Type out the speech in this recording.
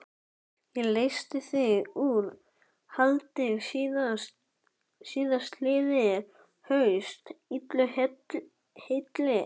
Ég leysti þig úr haldi síðastliðið haust, illu heilli.